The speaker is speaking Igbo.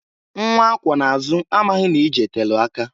Nwa akwọ na-azụ amaghị na ije telu aka.